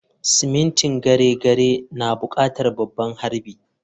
Simintin gyare-gyare na buƙatar babban harbi.